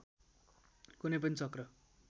कुनै पनि चक्र